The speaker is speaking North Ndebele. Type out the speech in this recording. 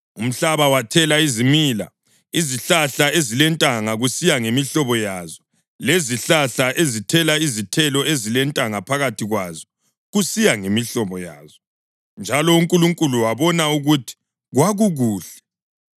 Umhlaba wathela izimila: izihlahla ezilentanga kusiya ngemihlobo yazo, lezihlahla ezithela izithelo ezilentanga phakathi kwazo kusiya ngemihlobo yazo. Njalo uNkulunkulu wabona ukuthi kwakukuhle.